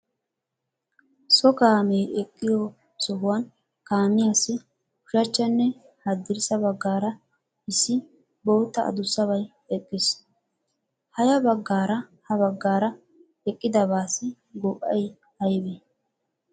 So kaamee eqqiyo sohuwan kaamiyaassi ushachchanne haddirssa baggaara issi bootta adussabay eqqis. Ha ya baggaara ha baggaara eqqidabaaassi go"ay aybee?